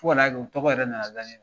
Fɔ ka n'a kɛ o tɔgɔ yɛrɛ nana da ne la.